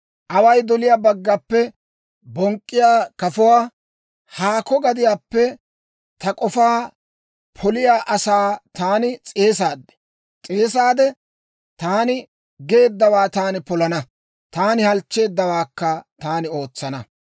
Away doliyaa baggappe bonk'k'iyaa kafuwaa, haakko gadiyaappe ta k'ofaa poliyaa asaa taani s'eesaade, taani geeddawaa taani polana; taani halchcheeddawaakka taani ootsana.